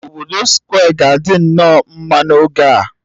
Obodo Square ga-adị nnọọ mma n'oge a